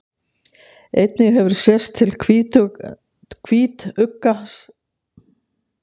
Einnig hefur sést til hvítugga synda á eftir stórhvölum og éta saurinn úr þeim.